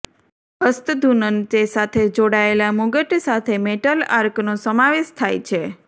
હસ્તધૂનન તે સાથે જોડાયેલા મુગટ સાથે મેટલ આર્કનો સમાવેશ થાય છે